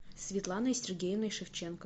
светланой сергеевной шевченко